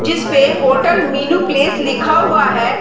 जिसपे hotel menu place लिखा हुआ है।